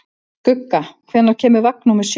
Skugga, hvenær kemur vagn númer sjö?